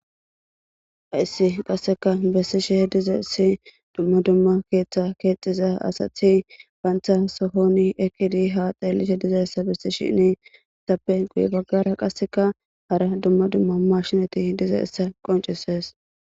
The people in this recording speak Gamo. haissi qasseka bessisheh diza issi dumma dumma keeththa keexiza asathi baantha sohoni ekidi ha xeellite dizayssa bessi shine itappe guye baggara qasseka hara dumma dumma mashinati diza issa qoncises